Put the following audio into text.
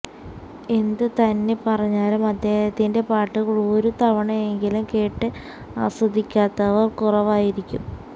എന്ത് തന്നെ പറഞ്ഞാലും അദ്ദേഹത്തിന്റെ പാട്ടുകൾ ഒരു തവണയെങ്കിലും കേട്ട് ആസ്വദിക്കാത്തവർ കുറവായിരിക്കും